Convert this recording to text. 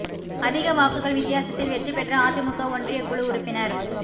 அதிக வாக்குகள் வித்தியாசத்தில் வெற்றி பெற்ற அதிமுக ஒன்றியக் குழு உறுப்பினா்